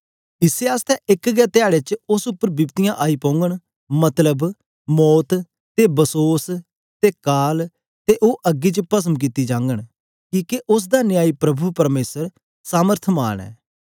इसै आसतै एक गै धयारे च उस्स उपर बिपतियाँ आई पोघंन मतलब मौत ते बसोस ते काल ते ओ अग्गी च पसम कित्ती जाघंन किके उस्स दा न्यायी प्रभु परमेसर सामर्थमान ऐ